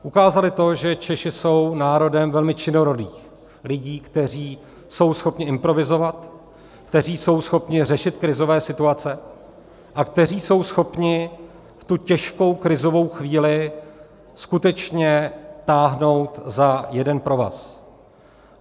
Ukázali to, že Češi jsou národem velmi činorodých lidí, kteří jsou schopni improvizovat, kteří jsou schopni řešit krizové situace a kteří jsou schopni v tu těžkou krizovou chvíli skutečně táhnout za jeden provaz.